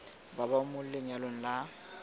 ba ba mo lenyalong la